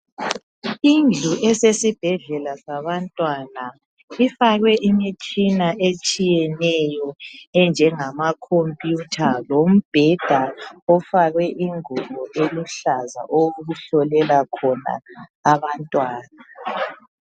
Indlu esesibhedlela sabantwana ifakwe imitshina etshiyeneyo enjengama khompiyutha lombheda ofakwe ingubo eluhlaza okuhlolelwa khona abantwana.